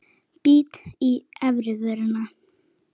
Bít í efri vörina.